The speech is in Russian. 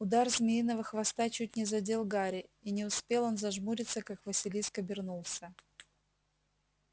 удар змеиного хвоста чуть не задел гарри и не успел он зажмуриться как василиск обернулся